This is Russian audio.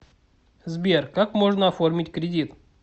сбер как можно оформить кредит